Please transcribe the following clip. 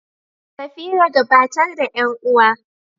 Safira, gabatar da ƴan uwa.